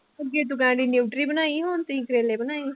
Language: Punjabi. ਅੱਗੇ ਤੂੰ ਕਹਿੰਦੀ ਨਿਊਟਰੀ ਬਣਾਈ ਹੁਣ ਤੁਸੀਂ ਕਰੇਲੇ ਬਣਾਏ।